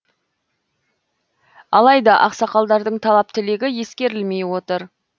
алайда ақсақалдардың талап тілегі ескерілмей отыр